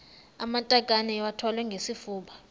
amatakane iwathwale ngesifuba